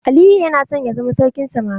Aliyu yana son ya zama sarkin samari.